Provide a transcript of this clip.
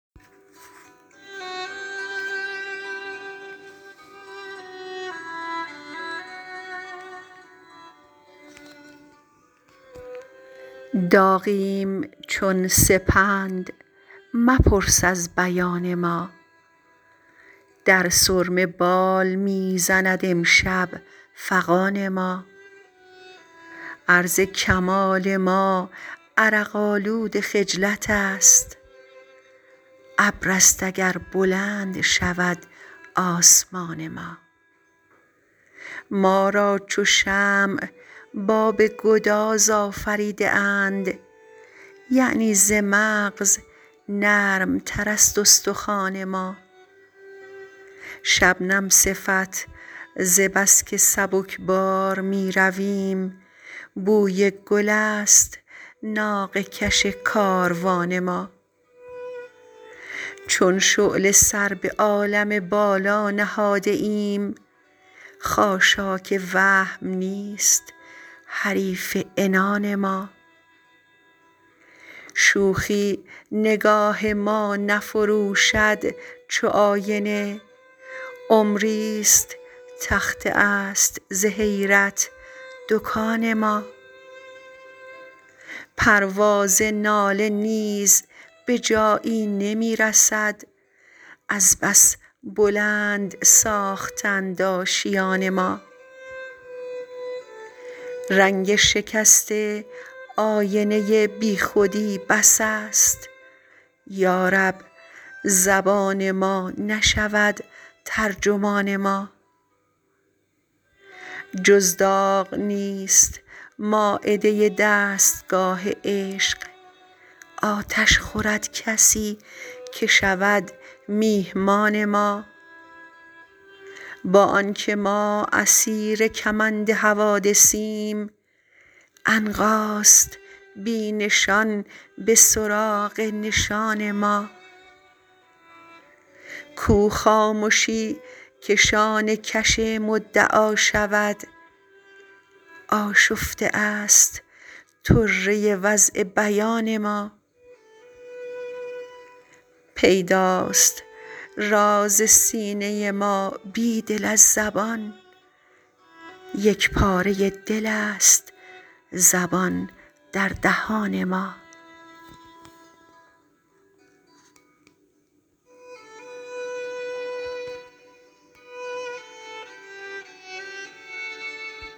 داغیم چون سپند مپرس از بیان ما در سرمه بال می زند امشب فغان ما عرض کمال ما عرق آلود خجلت است ابر است اگر بلند شود آسمان ما ما را چو شمع باب گداز آفریده اند یعنی ز مغز نرم تر است استخوان ما شبنم صفت ز بسکه سبکبار می رویم بوی گل است ناقه کش کاروان ما چون شعله سر به عالم بالا نهاده ایم خاشاک وهم نیست حریف عنان ما شوخی نگاه ما نفروشد چو آینه عمری ست تخته است ز حیرت دکان ما پرواز ناله نیز به جایی نمی رسد از بس بلند ساخته اند آشیان ما رنگ شکسته آینه بی خودی بس است یارب زبان ما نشود ترجمان ما جز داغ نیست مایده دستگاه عشق آتش خورد کسی که شود میهمان ما با آنکه ما اسیر کمند حوادثیم عنقاست بی نشان به سراغ نشان ما کو خامشی که شانه کش مدعا شود آشفته است طره وضع بیان ما پیداست راز سینه ما بیدل از زبان یک پاره دل است زبان در دهان ما